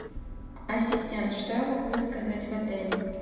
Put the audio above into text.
ассистент что я могу заказать в отеле